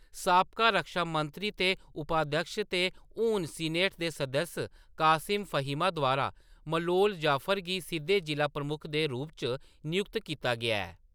साबका रक्षा मंत्री ते उपाध्यक्ष ते हून सीनेट दे सदस्य कासिम फहीम द्वारा मलोम ज़फर गी सिद्धे जिʼला प्रमुख दे रूप च नियुक्त कीता गेआ ऐ।